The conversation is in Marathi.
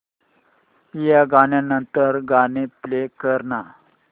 या गाण्या नंतरचं गाणं प्ले कर ना